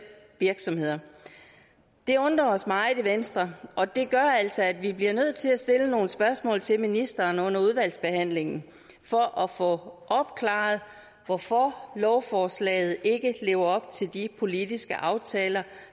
virksomheder det undrer os altså meget i venstre og det gør altså at vi bliver nødt til at stille nogle spørgsmål til ministeren under udvalgsbehandlingen for at få opklaret hvorfor lovforslaget ikke lever op til de politiske aftaler